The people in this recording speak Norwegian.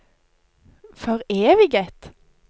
foreviget